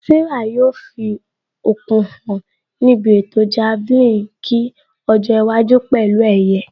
Sarah yóò fi okun hàn níbi ètò Javelin nkiọjọ́ iwájú pẹ̀lú ẹ̀yẹ